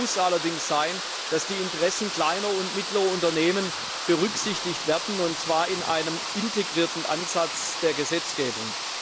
Das Ziel muss allerdings sein, dass die Interessen kleiner und mittlerer Unternehmen berücksichtigt werden, und zwar in einem integrierten Ansatz der Gesetzgebung.